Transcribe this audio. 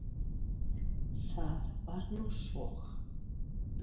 Það var nú svo.